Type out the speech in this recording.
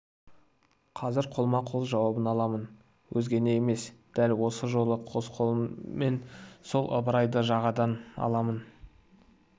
қазір қолма-қол жауабын аламын өзгені емес дәл осы жолы қос қолыммен сол ыбырайды жағадан аламын аламын